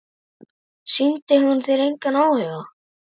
Sýndi hún þér engan áhuga?